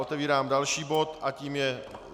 Otevírám další bod, a tím je